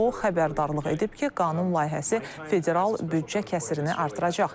O, xəbərdarlıq edib ki, qanun layihəsi federal büdcə kəsirini artıracaq.